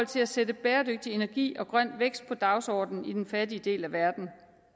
til at sætte bæredygtig energi og grøn vækst på dagsordenen i den fattige del af verden